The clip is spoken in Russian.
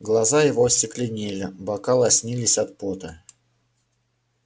глаза его остекленели бока лоснились от пота